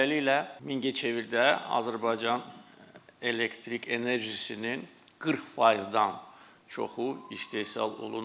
Beləliklə Mingəçevirdə Azərbaycan elektrik enerjisinin 40%-dən çoxu istehsal olunur.